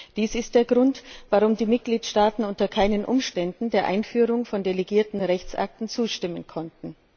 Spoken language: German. Dies ist der Grund, warum die Mitgliedstaaten unter keinen Umständen der Einführung von delegierten Rechtsakten zustimmen konnten.